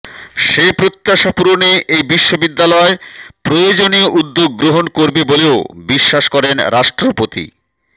সে প্রত্যাশা পূরণে এই বিশ্ববিদ্যালয় প্রয়োজনীয় উদ্যোগ গ্রহণ করবে বলেও বিশ্বাস করেন রাষ্ট্রপতি